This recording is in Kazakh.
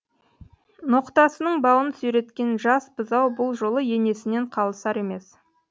ноқтасының бауын сүйреткен жас бұзау бұл жолы енесінен қалысар емес